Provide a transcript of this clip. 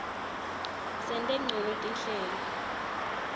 sente ncono tinhlelo